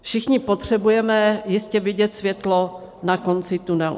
Všichni potřebujeme jistě vidět světlo na konci tunelu.